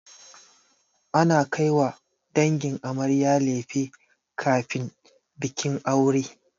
Ana kaiwa dangin amarya lefe kafin bikin aure.